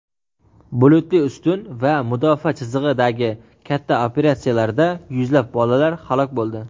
"bulutli ustun" va "mudofaa chizig‘i"dagi katta operatsiyalarida yuzlab bolalar halok bo‘ldi.